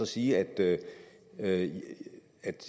sige at at